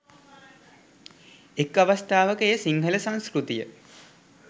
එක් අවස්ථාවක එය සිංහල සංස්කෘතිය